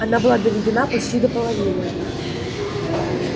она была доведена почти до половины